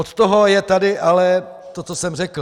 Od toho je tady ale to, co jsem řekl.